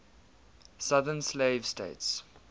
southern slave states